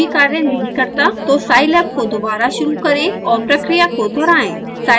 यदि यह अभी भी कार्य नहीं करता तो scilab को दोबारा शुरू करें और प्रक्रिया को दोहराएँ